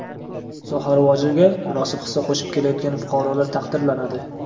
soha rivojiga munosib hissa qo‘shib kelayotgan fuqarolar taqdirlanadi.